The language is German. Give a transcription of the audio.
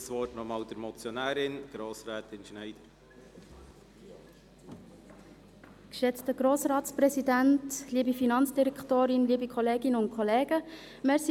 Aus den Voten habe ich gehört, dass beinahe alle Fraktionen das Anliegen ablehnen.